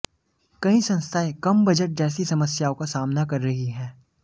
कई संस्थाएं कम बजट जैसी समस्याओं का सामना कर रही है